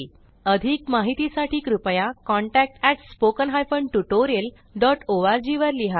अधिक माहितीसाठी कृपया contact at spoken hyphen tutorial dot org वर लिहा